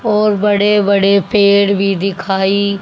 और बड़े बड़े पेड़ भी दिखाई--